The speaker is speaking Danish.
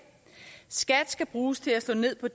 skat skal bruges til at slå ned på